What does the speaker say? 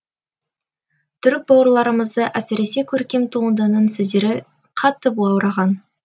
түрік бауырларымызды әсіресе көркем туындының сөздері қатты баураған